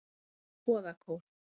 Goðakór